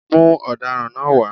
Mú ọ̀daràn náá wá